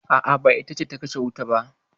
A'a, ba ita ce ta kashe wutan ba.